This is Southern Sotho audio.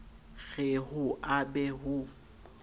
re ho a be ho